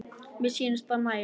Já, mér sýnist það nægja!